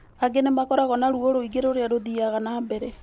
Angĩ nĩ makoragũo na ruo rwĩngĩ rũrĩa rũthiaga na mbere.